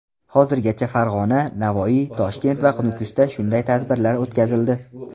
Hozirgacha Farg‘ona, Navoiy, Toshkent va Nukusda shunday tadbirlar o‘tkazildi.